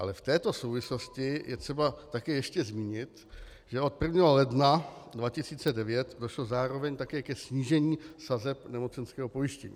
Ale v této souvislosti je třeba také ještě zmínit, že od 1. ledna 2009 došlo zároveň také ke snížení sazeb nemocenského pojištění.